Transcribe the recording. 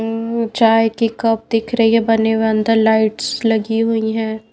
उम्म चाय की कप दिख रही है बने हुए अंदर लाइट्स लगी हुई हैं।